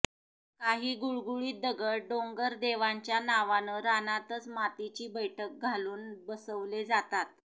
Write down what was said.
काही गुळगुळीत दगड डोंगर देवांच्या नावानं रानातच मातीची बैठक घालून बसवले जातात